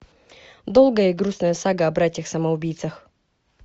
долгая и грустная сага о братьях самоубийцах